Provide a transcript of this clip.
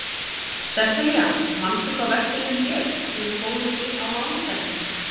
Sessilía, manstu hvað verslunin hét sem við fórum í á mánudaginn?